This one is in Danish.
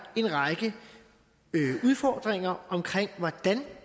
en række udfordringer omkring hvordan